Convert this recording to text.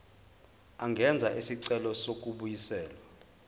angenza isicelo sokubuyiselwa